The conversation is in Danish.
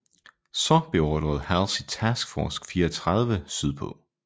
Så beordrede Halsey Task Force 34 sydpå